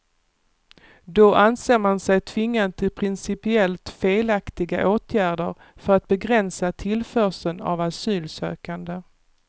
Då anser man sig tvingad till principiellt felaktiga åtgärder för att begränsa tillförseln av asylsökande.